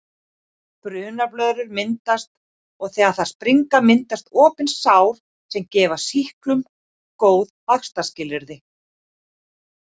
Brunablöðrur myndast og þegar þær springa myndast opin sár sem gefa sýklum góð vaxtarskilyrði.